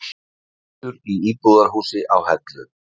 Eldur í íbúðarhúsi á Hellu